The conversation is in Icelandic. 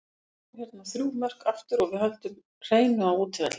Við skorum hérna þrjú mörk aftur og við höldum hreinu á útivelli.